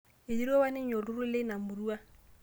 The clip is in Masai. Eiterua apa ninye olturrur leina murua